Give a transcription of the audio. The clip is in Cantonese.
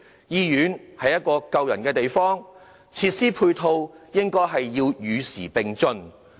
醫院是一個救人的地方，配套設施應與時並進。